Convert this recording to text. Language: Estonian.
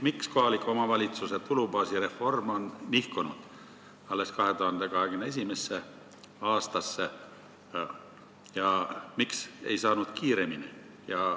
Miks kohaliku omavalitsuse tulubaasi reform on nihkunud alles 2021. aastasse ja miks ei saanud kiiremini?